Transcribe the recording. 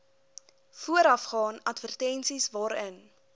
voorafgaan advertensies waarin